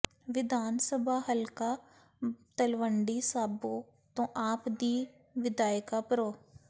ਵਿਧਾਨ ਸਭਾ ਹਲਕਾ ਤਲਵੰਡੀ ਸਾਬੋ ਤੋੋਂ ਆਪ ਦੀ ਵਿਧਾਇਕਾ ਪ੍ਰੋ